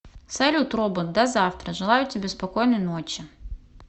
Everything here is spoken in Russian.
салют робот до завтра желаю тебе спокойной ночи